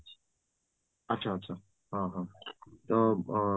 ଆଚ୍ଛା, ଆଚ୍ଛା ହଁ ହଁ ତ